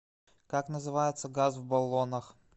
как называется газ в баллонах